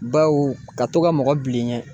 Bawu ka to ka mɔgɔ bila i ɲɛ